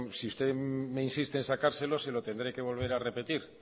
si usted me insiste en sacárselo se lo tendré que volver a repetir